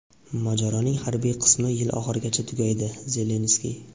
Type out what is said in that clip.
mojaroning harbiy qismi yil oxirigacha tugaydi – Zelenskiy.